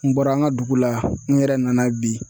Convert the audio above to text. N bɔra an ka dugu la n yɛrɛ nana bi